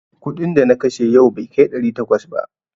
Kuɗin da na kashe yau bai kai ɗari takwas ba.